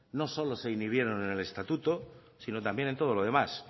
no solo se inhibieron en el estatuto sino también en todo lo demás